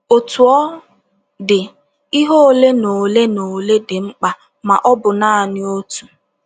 Otú ọ dị, ihe ole na ole na ole dị mkpa, ma ọ bụ nanị otu